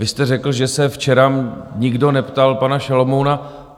Vy jste řekl, že se včera nikdo neptal pana Šalomouna.